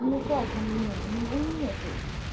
ну как у меня у меня нету